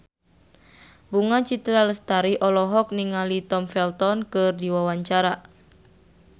Bunga Citra Lestari olohok ningali Tom Felton keur diwawancara